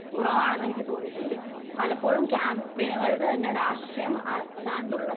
കുറവാണെന്ന് എനിക്ക് തോന്നിയിട്ടുണ്ട്. പലപ്പോഴും ക്യാമ്പയിനുകളിൽ തന്നെ രാഷ്ട്രീയം അല്ലാണ്ടുള്ള